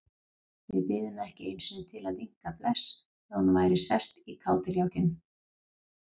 Við biðum ekki einu sinni til að vinka bless þegar hún væri sest í kádiljákinn.